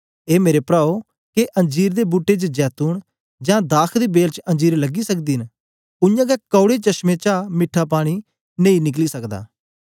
ए मेरे प्राओ के अंजीर दे बूट्टे च जैतून जां दाख दी बेल च अंजीर लगी सकदे न उयांगै कौड़े चशमें चा मिट्ठा पानी नेई निकली सकदा